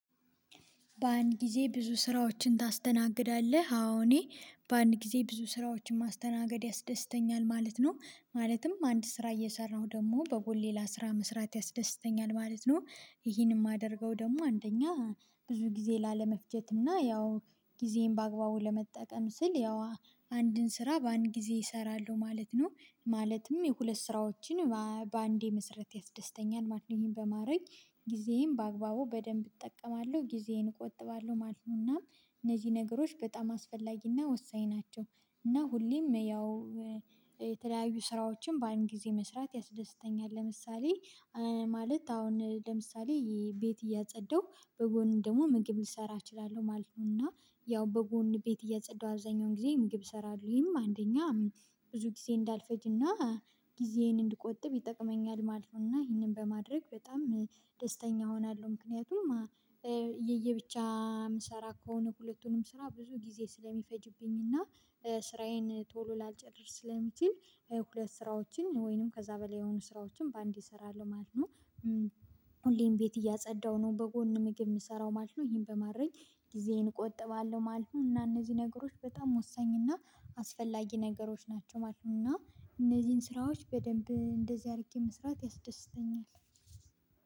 በአንድ ጊዜ ብዙ ስራዎችን ታስተናግዳለህ አዎ እኔ በአንድ ጊዜ ብዙ ስራዎችን ማስተናገድ ያስደስተኛል ማለት ነው። ማለትም አንድ ስራ እየሰራሁ ደግሞ በጎን ሌላ መስራት ያስደስተኛል ማለት ነው። ይሄንን የማደርገው ደግሞ አንደኛ ብዙ ጊዜ ላለመፍጀት እና ያው ጊዜየን በአግባቡ ለመጠቀም ስል ያው አንድን ስራ በአንድ ጊዜ እሰራለሁ ማለት ነው ማለትም የሁለት ስራዎችን በአንዴ መሰራት ያስደስተኛል ማለት ነው። ይሄን በማድረግ ጊዜዬን በአግባቡ በደንብ እጠቀማለሁ ጊዜዬን እቆጥባለሁ ማለት ነው። እና እነዚህ ነገሮች በጣም አስፈላጊ ና ወሳኝ ናቸው። እና ሁሌም ያው የተለያዩ ስራዎችን በአንድ ጊዜ መስራት ያስደስተኛል ለምሳሌ ማለት አሁን ለምሳሌ ቤት እያጸዳሁ በጎን ደግሞ ምግብ ልሰራ እችላለሁ ማለት ነው። እና ያው በጎን ቤት እያፀዳሁ አብዛኛውን ጊዜ ምግብ እሰራለሁ ይሄም አንደኛ አሚን ብዙ ጊዜ እንዳልፈጅና ጊዜዬን እንድቆጥብ ይጠቅመኛል ማለት ነው። እና ይሄንን በማድረግ በጣም ደስተኛ እሆናለሁ። ምክንያቱም የየብቻ የምሰራ ከሆነ ሁለቱንም ስራ ብዙ ጊዜ ስለሚፈጅብኝና ስራዬን ቶሎ ላልጨርስ ስለሚችል ሁለት ስራዎችን ወይንም ከዛ በላይ የሆኑ ስራዎችን በአንዴ እሰራለሁ ማለት ነው። ሁሌም ቤት እያጸዳሁ ነው በጎን ምግብ የምሰራው ማለት ነው። ይሄን በማድረግ ጊዜዬን እቆጥባለሁ ማለት ነው እና እነዚህ ነገሮች በጣም ወሳኝ እና አስፈላጊ ነገሮች ናቸው ማለት ነው። እና እነዚህን ስራዎች በደንብ እንደዚህ አድርጌ መስራት ያስደስተኛል።